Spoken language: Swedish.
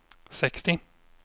sextio